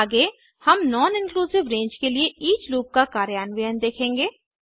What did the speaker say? आगे हम non inclusive range के लिए ईच लूप का कार्यान्वयन देखेंगे